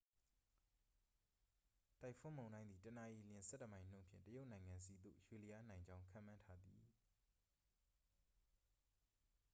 တိုင်ဖွန်းမုန်တိုင်းသည် တစ်နာရီလျှင် ဆယ့်တစ်မိုင်နှုန်းဖြင့် တရုတ်နိုင်ငံဆီသို့ ရွေ့လျားနိုင်ကြောင်း ခန့်မှန်းထားသည်